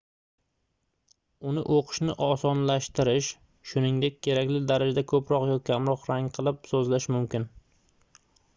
uni oʻqishni osonlashtirish shuningdek kerakli darajada koʻproq yoki kamroq rangli qilib sozlash mumkin